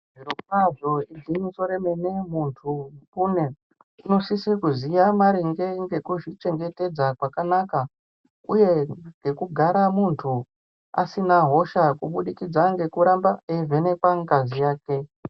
Zviro kwazvo igwinyiso remene zviro kwazvo muntu unosisa kuziva maringe ngekuzvi chengetedza kwakanaka uye nekugara muntu asina hosha kuburikidza nekuramba achi vhenekwa ngazi yake.